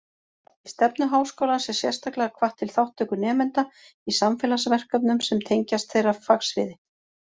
Í stefnu Háskólans er sérstaklega hvatt til þátttöku nemenda í samfélagsverkefnum sem tengjast þeirra fagsviði.